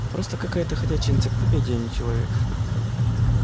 просто какая-то ходячая энциклопедия а не человек